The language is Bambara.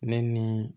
Ne ni